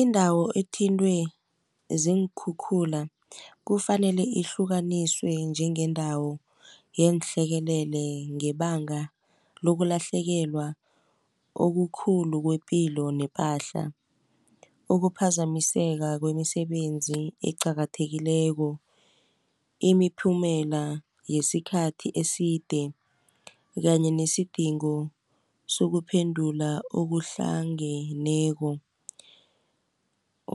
Indawo athintwe ziinkhukhula kufanele ihlukaniswe njengendawo yeehlekelele ngebanga lokulahlekelwa okukhulu kwepilo nepahla. Ukuphazamiseka kwemisebenzi eqakathekileko, imiphumela yesikhathi eside, kanye nesidingo sokuphendula okuhlangeneko